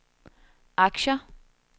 aktier